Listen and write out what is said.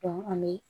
an be